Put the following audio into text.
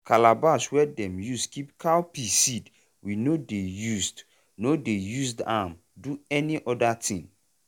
calabash wey dem use keep cowpea seed we no dey used no dey used am do any other thing.